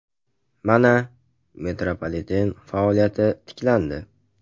Mana, metropoliten faoliyati tiklandi.